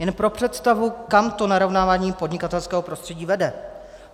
Jen pro představu, kam to narovnávání podnikatelského prostředí vede.